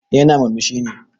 Eh yana murmushi ne.